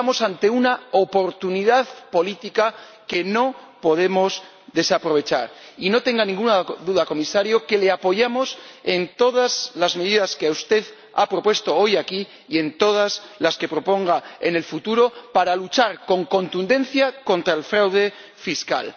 Estamos ante una oportunidad política que no podemos desaprovechar y no tenga ninguna duda, Comisario, de que le apoyamos en todas las medidas que usted ha propuesto hoy aquí y en todas las que proponga en el futuro para luchar con contundencia contra el fraude fiscal.